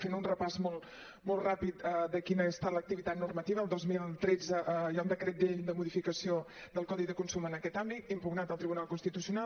fent un repàs molt ràpid de quina ha estat l’activitat normativa el dos mil tretze hi ha un decret llei de modificació del codi de consum en aquest àmbit impugnat al tribunal constitucional